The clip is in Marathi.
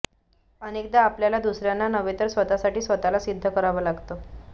अनेकदा आपल्याला दुसर्यांना नव्हे तर स्वतःसाठी स्वतःला सिद्ध करावं लागतं